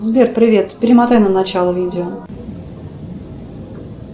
сбер привет перемотай на начало видео